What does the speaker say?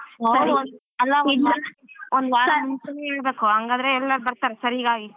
ಒಂದು ವಾರ ಮುಂಚೆನೇ ಹೇಳ್ಬೇಕು ಹಂಗಾದ್ರೆ ಎಲ್ಲರು ಬರ್ತಾರೆ.ಸರಿ bye